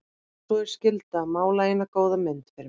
Og svo er skylda að mála eina góða mynd fyrir mig.